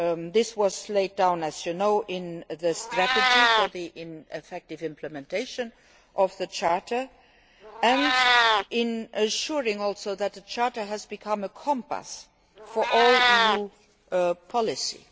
This was laid down, as you know, in the strategy for the effective implementation of the Charter, and it has also ensured that the Charter has become a compass for all EU policies.